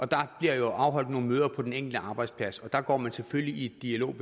der bliver afholdt nogle møder på den enkelte arbejdsplads og der går man selvfølgelig i dialog